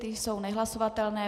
Ty jsou nehlasovatelné.